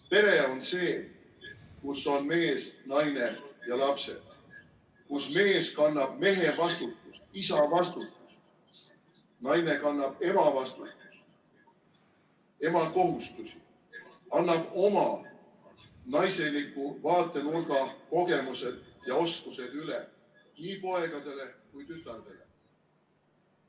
Pere on see, kus on mees, naine ja lapsed, kus mees kannab mehe vastutust, isa vastutust, naine kannab ema vastutust, ema kohustusi, annab oma, naiseliku vaatenurga, kogemused ja oskused üle nii poegadele kui tütardele.